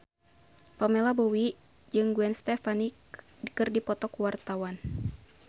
Pamela Bowie jeung Gwen Stefani keur dipoto ku wartawan